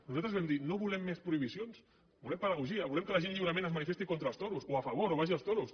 nosaltres vam dir no volem més prohibicions volem pedagogia volem que la gent lliurement es manifesti contra els toros o a favor o vagi als toros